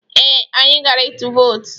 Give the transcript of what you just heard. Ee, anyị gara ịtụ vootu.